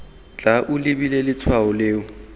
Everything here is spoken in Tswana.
tla o lebile letshwao leno